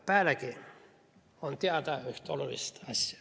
Pealegi on teada üks oluline asi.